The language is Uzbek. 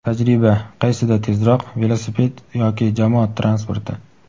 Tajriba: qaysida tezroq - velosiped yoki jamoat transporti?.